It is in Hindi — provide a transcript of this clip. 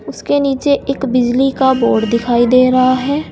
उसके नीचे एक बिजली का बोर्ड दिखाई दे रहा है।